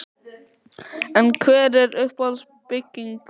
En hver er uppáhalds bygging Páls?